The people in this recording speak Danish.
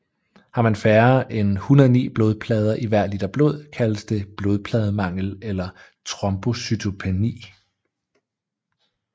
Har man færre end 109 blodplader i hver liter blod kaldes det blodplademangel eller trombocytopeni